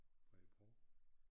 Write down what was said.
Bredebro